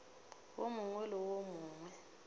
wo mongwe le wo mongwe